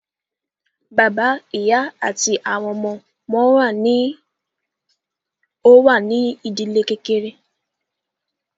Bàbá, ìyá àti àwọn ọmọ wọn ní o wà ní ìdílé kékeré.